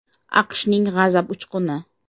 AQShning “G‘azab uchquni”.